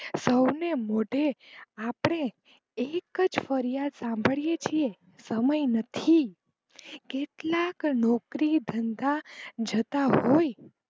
સૌને મોઢે આપડે એક જ ફરિયાદ સાંભળિયે છીએ સમય નથી કેટલાક નોકરી ધંધા જતા હોય.